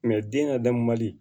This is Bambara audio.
den kadamu mali